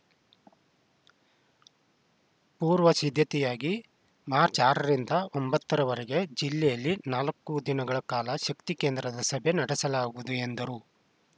ಪೂರ್ವ ಸಿದ್ಧತೆಯಾಗಿ ಮಾರ್ಚ್ ಆರ ರಿಂದ ಒಂಬತ್ತರವರೆಗೆ ಜಿಲ್ಲೆಯಲ್ಲಿ ನಾಲ್ಕು ದಿನಗಳ ಕಾಲ ಶಕ್ತಿ ಕೇಂದ್ರದ ಸಭೆ ನಡೆಸಲಾಗುವುದು ಎಂದರು